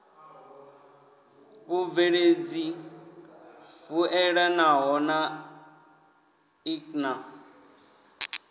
vhubveledzi vhuelanaho na ik na